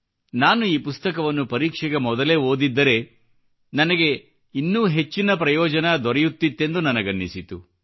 ನಾನು ಈ ಪುಸ್ತಕವನ್ನು ಪರೀಕ್ಷೆಗೆ ಮೊದಲೇ ಓದಿದ್ದರೆ ನನಗೆ ಬಹಳ ಹೆಚ್ಚಿನ ಪ್ರಯೋಜನ ದೊರೆಯುತ್ತಿತ್ತೆಂದು ನನಗನಿಸಿತು